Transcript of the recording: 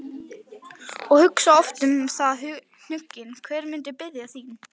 og hugsa oft um það hnugginn, hver muni biðja þín.